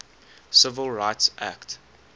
civil rights act